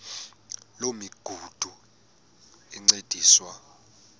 loo migudu encediswa